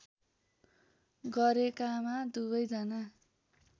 गरेकामा दुवै जना